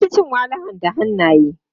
An fi cin walahan da hannaye.